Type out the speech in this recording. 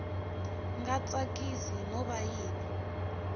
nga tsakisi no va yi